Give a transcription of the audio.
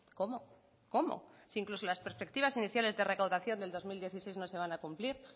cómo cómo si incluso las perspectivas iniciales de recaudación del dos mil dieciséis no se van a cumplir